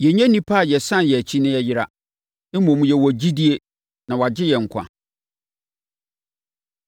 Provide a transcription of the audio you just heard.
Yɛnnyɛ nnipa a yɛsane yɛn akyi na yɛyera. Mmom, yɛwɔ gyidie na wɔagye yɛn nkwa.